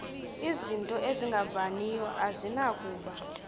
izinto ezingavaniyo azinakuba